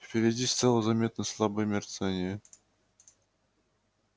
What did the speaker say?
впереди стало заметно слабое мерцание